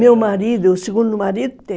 Meu marido, o segundo marido, te